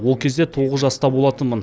ол кезде тоғыз жаста болатынмын